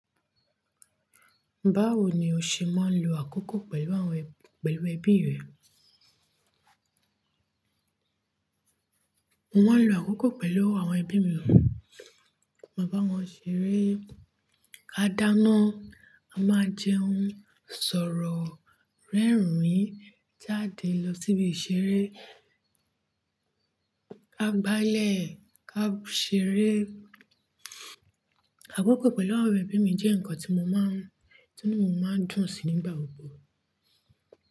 Báwo ni o ṣe máa ń lo àkókò pẹ̀lú àwọn, pẹ̀lú ẹbí rẹ? Mo máa ń lo àkókò pẹ̀lú àwọn ẹbí mi, mo bá wọn ṣeré, ká dáná, a máa jẹun, ń sọ̀rọ̀ rẹ́rìn-ín jáde lọ síbi ìṣeré, ká gbálẹ̀, ká ṣeré. Àkókò pẹ̀lú àwọn ẹbí mi jẹ́ ǹkan tí mo máa ń, tí inu máa ń dùn sí nígbà gbogbo.